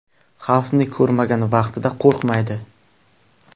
Xavfni ko‘rmagan vaqtida qo‘rqmaydi.